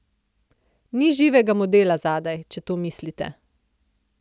Ni živega modela zadaj, če to mislite.